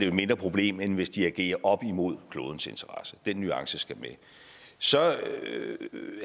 et mindre problem end hvis de agerer op imod klodens interesse den nuance skal med så